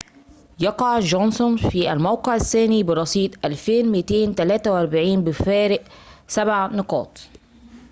يقع جونسون في الموقع الثاني برصيد 2243 بفارق سبع نقاطٍ